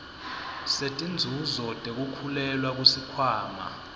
setinzuzo tekukhulelwa kusikhwama